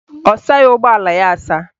Ọ saghị ụgbọala ya asa